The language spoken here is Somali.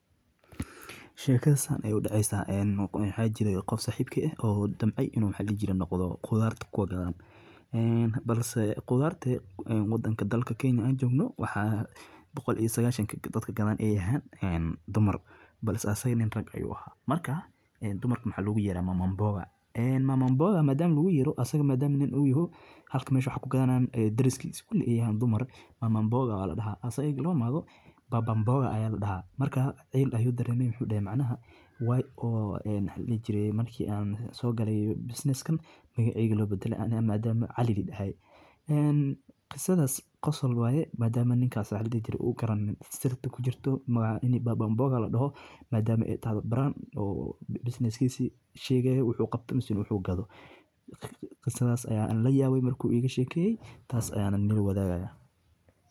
Waxaa kasta aanay u dhacaysa in xajiyado iyo qof sahibka ah oo damb ay inuu maxkajiira noqdo. Khudaartu ku waga galen, balse khudaarte waddanka dalka keeni aan joogno waxa 190 ka dadka kadaan ay yahaan dumar. Balse aysan nin rag ay u ahaa markaa dumarkana xag lugu yeedhay maambo ga. Maamul booga maadaama lagu yeedho asag maadaama nin u yahay halka meeshu wax ku ganaan deriskiis kuli iyo dumar maamul booga waal dhahaa. Aysan iglo maado baabban booga ayaa la dhahaa markaa ay la yidhi dareemay muujinay macnaha way oh ay leejirey malkii aan soo galay business kan magaci gelo badan aan maadaama calidi dhahay. Qisadas qas alwaaye maadaama ninkaas xiradii jir u garan sidoo kale ku jirto magaca. Baaban bogga la dhaho. Maadaama eed taa brand oo business kiisi sheega ahay wuxuu qabtay masuul u xuu gado? Qisadas ayaa in la yaab mar kuw eeg sheekay taas ayaan nil wadaaga.